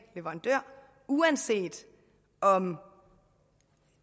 leverandør uanset om